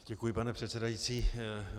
Děkuji, pane předsedající.